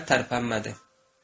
Hə, tərpənmədi.